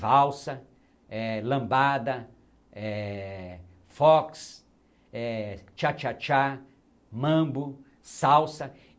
Valsa, eh lambada, eh fox, eh cha-cha-cha, mambo, salsa.